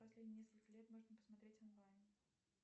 последние несколько лет можно посмотреть онлайн